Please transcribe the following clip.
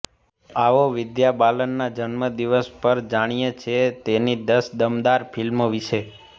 આવો વિદ્યા બાલનના જન્મદિવસ પર જાણીએ છે તેની દસ દમદાર ફિલ્મો વિશે